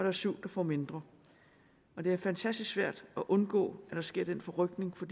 er syv der får mindre det er fantastisk svært at undgå at der sker den forrykning for